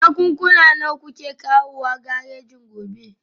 Jakunkuna nawa kuke kawowa garejin gobe?